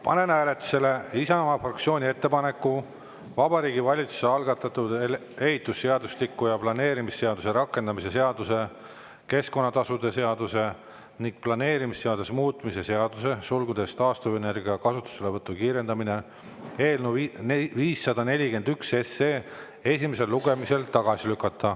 Panen hääletusele Isamaa fraktsiooni ettepaneku Vabariigi Valitsuse algatatud ehitusseadustiku ja planeerimisseaduse rakendamise seaduse, keskkonnatasude seaduse ning planeerimisseaduse muutmise seaduse eelnõu 541 esimesel lugemisel tagasi lükata.